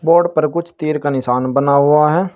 Board पर कुछ तीर का निशान बना हुआ है।